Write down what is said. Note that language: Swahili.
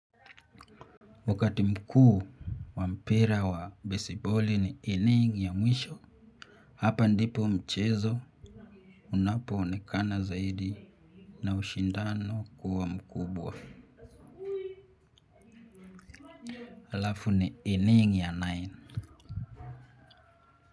Wakati mkuu wa mpira wa baseball ni inning ya mwisho. Hapa ndipo mchezo unapo onekana zaidi na ushindano kuwa mkubwa. Halafu ni inning ya nine.